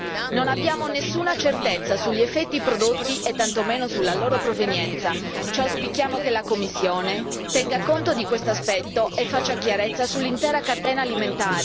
Non abbiamo nessuna certezza sugli effetti prodotti e tantomeno sulla loro provenienza. Auspichiamo che la Commissione tenga conto di questo aspetto e faccia chiarezza sull'intera catena alimentare.